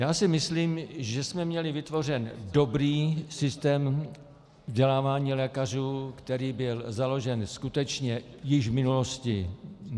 Já si myslím, že jsme měli vytvořený dobrý systém vzdělávání lékařů, který byl založen skutečně již v minulosti.